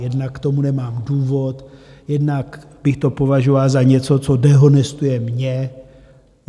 Jednak k tomu nemám důvod, jednak bych to považoval za něco, co dehonestuje mě.